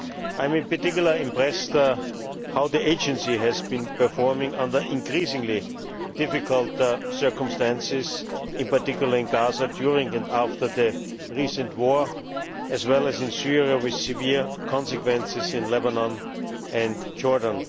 I am particularly impressed by how the Agency has been performing under increasingly difficult circumstances, in particular in Gaza during and after the recent war, as well as in Syria with severe consequences in Lebanon and Jordan.